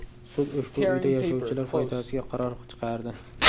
Sud ushbu uyda yashovchilar foydasiga qaror chiqardi.